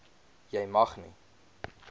jy mag nie